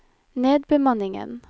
nedbemanningen